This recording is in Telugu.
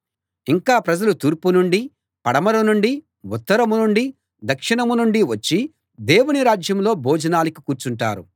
ఇంకా ప్రజలు తూర్పు నుండీ పడమర నుండీ ఉత్తరం నుండీ దక్షిణం నుండీ వచ్చి దేవుని రాజ్యంలో భోజనానికి కూర్చుంటారు